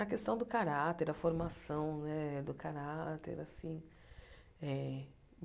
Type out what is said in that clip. A questão do caráter, a formação né do caráter assim eh.